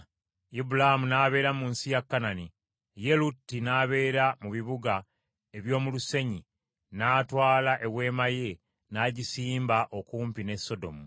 Ibulaamu n’abeera mu nsi ya Kanani, ye Lutti n’abeera mu bibuga eby’omu lusenyi n’atwala eweema ye n’agisimba okumpi ne Sodomu.